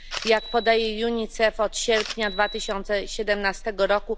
Jak podaje UNICEF, od sierpnia 2017 r.